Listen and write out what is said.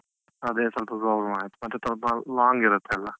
ಅದೆ ಸ್ವಲ್ಪ problem ಆಯ್ತು. ಮತ್ತೆ ಸ್ವಲ್ಪ long ಇರುತ್ತಲ್ಲ.